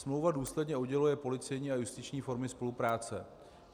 Smlouva důsledně odděluje policejní a justiční formy spolupráce.